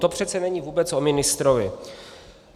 To přece není vůbec o ministrovi.